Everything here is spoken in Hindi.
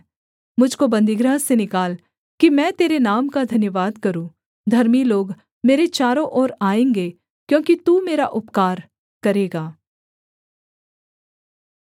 मुझ को बन्दीगृह से निकाल कि मैं तेरे नाम का धन्यवाद करूँ धर्मी लोग मेरे चारों ओर आएँगे क्योंकि तू मेरा उपकार करेगा